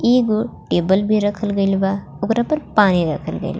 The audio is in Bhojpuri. इगो टेबल भी रखल गइल बा ओकरा पर पानी रखल गइल बा.